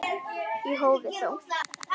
Í hófi þó.